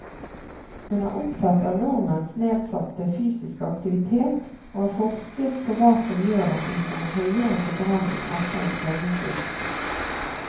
Hun er opptatt av nordmenns nedsatte fysiske aktivitet og har forsket på hva som gjør at vi får en høyere forbrenning etter en treningsøkt.